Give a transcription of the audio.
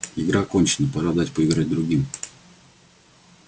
игра окончена пора дать поиграть другим